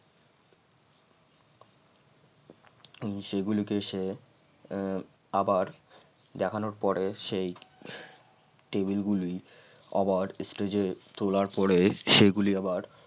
সে গুলোকে সে আহ আবার দেখানোর পরে সেই টেবিলগুলি আবার stage এ তোলার পরে সেগুলি আবার